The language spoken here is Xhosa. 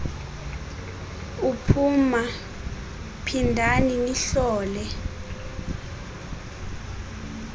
uphuma phindani nihlole